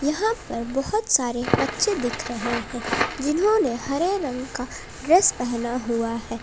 यहां पर बहोत सारे बच्चे देख रहे हैं जिन्होंने हरे रंग का ड्रेस पहना हुआ है।